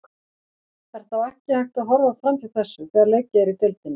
Er þá ekki hægt að horfa framhjá þessu þegar leikið er í deildinni?